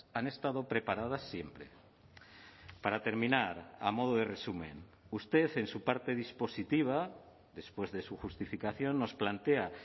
han estado preparadas siempre para terminar a modo de resumen usted en su parte dispositiva después de su justificación nos plantea